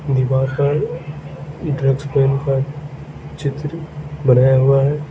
दीवार पर ये ड्रग्स पेन का चित्र बनाया हुआ है।